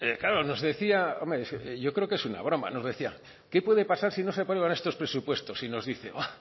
claro nos decía hombre es que yo creo que es una broma nos decía qué puede pasar si no se aprueban estos presupuestos y nos dice